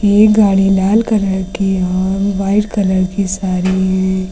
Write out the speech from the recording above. ये गाड़ी लाल कलर की और व्हाइट कलर की सारी है।